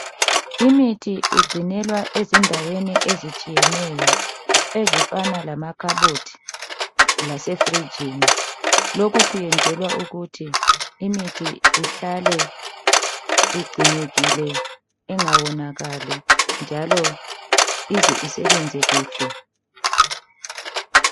Imithi igcinelwa ezindaweni ezitshiyeneyo, ezifana lamakhabothi lasefrijini. Lokhu kwenzelwa ukuthi imithi ihlale igcinekile, ingawonakali, njalo ize isebenze kuhle.